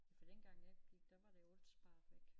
For den gang jeg gik der var det alt sparet væk